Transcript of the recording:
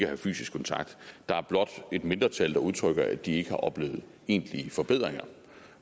have fysisk kontakt der er blot et mindretal der udtrykker at de ikke har oplevet egentlige forbedringer